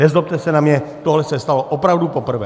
Nezlobte se na mě, tohle se stalo opravdu poprvé!